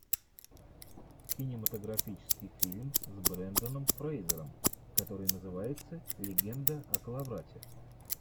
кинематографический фильм с брендоном фрэйзером который называется легенда о коловрате